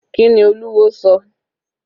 Kíni Olúwo sọ?